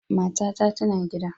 Matata tana gida.